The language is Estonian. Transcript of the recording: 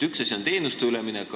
Üks asi on teenuste üleminek.